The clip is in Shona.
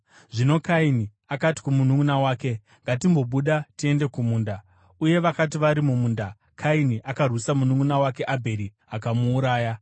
Zvino Kaini akati kumununʼuna wake, “Ngatimbobuda tiende kumunda.” Uye vakati vari mumunda Kaini akarwisa mununʼuna wake Abheri akamuuraya.